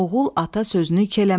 Oğul ata sözünü iki eləməzdi.